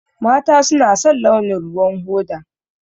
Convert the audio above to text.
Mata suna son launin ruwan hoda.